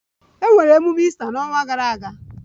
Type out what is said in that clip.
Emere emume Easter n'ọnwa gara aga